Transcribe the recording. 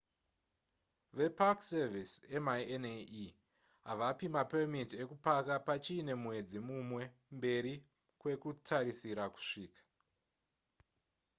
vepark service minae havapi mapemiti ukupaka pachiine mwedzi mumwe mberi kwekutarisira kusvika